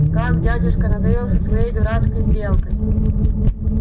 как дядюшка надоел со своей дурацкой сделкой